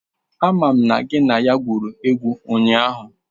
Amam na gị na ya gwuru egwu ụnyahụ!